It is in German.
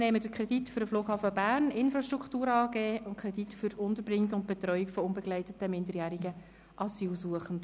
Dann haben wir den Kredit für die Flughafen Bern Infrastruktur AG und den Kredit für die Unterbringung und Betreuung von unbegleiteten, minderjährigen Asylsuchenden.